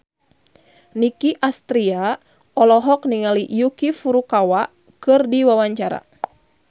Nicky Astria olohok ningali Yuki Furukawa keur diwawancara